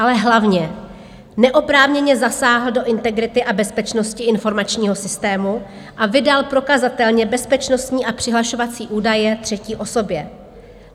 Ale hlavně, neoprávněně zasáhl do integrity a bezpečnosti informačního systému a vydal prokazatelně bezpečnostní a přihlašovací údaje třetí osobě.